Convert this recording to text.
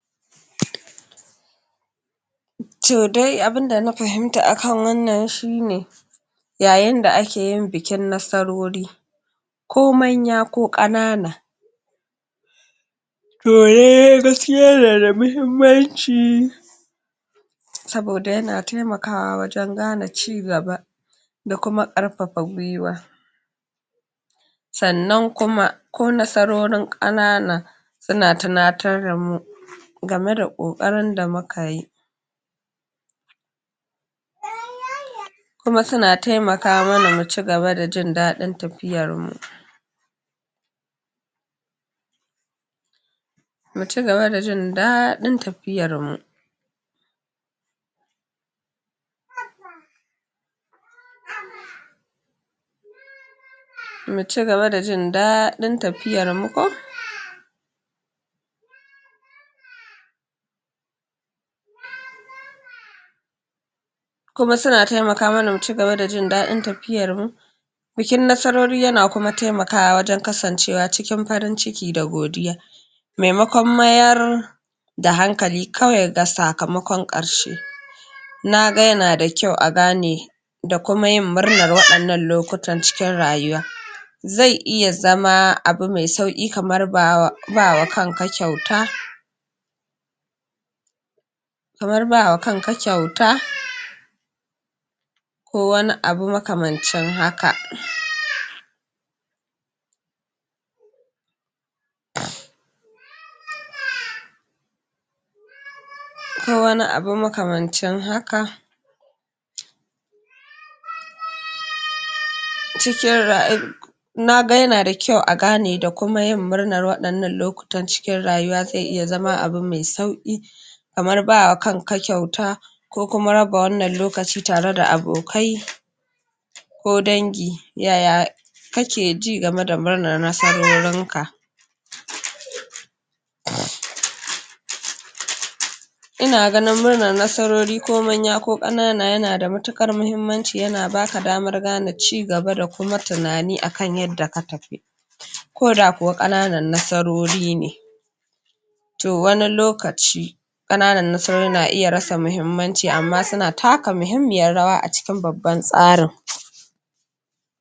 To dai abunda na fahimta akan wannan shine yayin da akeyin bikin nasarori ko manya ko ƙanana to lallai gaskiya na da muhimmanci saboda yana taimakawa wajen gane ci gaba da kuma ƙarfafa gwiwa sannan kuma ko nasarorin ƙanana suna tunatar damu game da ƙoƙarin da mukayi kuma suna taimaka mana mu ci gaba da jin daɗin tafiyan mu mu ci gaba da jin daɗin tafiyan mu mu ci gaba da jin daɗin tafiyar mu ko kuma suna taimaka mana mu ci gaba da jin daɗin tafiyar mu bikin nasarori yana kuma taimakawa wajen kasancewa cikin farin ciki da godiya maimakon mayar da hankali kawai ga sakamakon ƙarshe naga yana da kyau a gane da kuma yin murnar waɗannan lokutan cikin rayuwa zai iya zama abu mai sauƙi kamar bawa bawa kanka kyauta kamar bawa kanka kyauta ko wani abu makamancin haka. ko wani abu makamancin haka naga yana da kyau a gane da kuma yin murnanr waɗannan lokutan cikin rayuwa zai iya zama abu mai sauki kamar bawa kanka kyauta ko kuma raba wannan lokaci tareda abokai ko dangi yaya kakeji game da murnar nasarorin ka inaganin murnan nasarori ko manya ko ƙanana yanada matuƙar mahimmanci yana baka damar gane ci gaba da kuma tunani akan yadda ka tafi koda kuwa ƙananan nasarori ne. to wani lokaci ƙananan nasarori na iya rasa muhimmanci amma suna taka muhimmiyar raya a cikin babban tsarin.